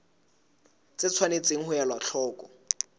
tse tshwanetseng ho elwa hloko